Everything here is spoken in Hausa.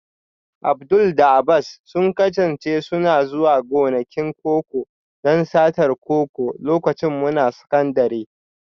Abdul da Abbas sun kasance suna zuwa gonakin koko don satar koko lokacin muna sakandire